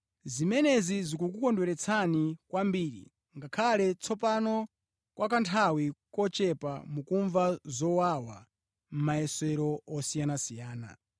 Zimenezi zikukondweretseni kwambiri, ngakhale tsopano, kwa kanthawi kochepa, mukumva zowawa mʼmayesero osiyanasiyana.